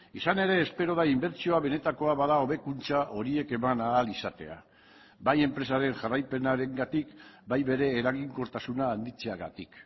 izan ere espero da inbertsioa benetakoa bada hobekuntza horiek eman ahal izatea bai enpresaren jarraipenarengatik bai bere eraginkortasuna handitzeagatik